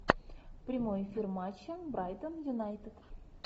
прямой эфир матча брайтон юнайтед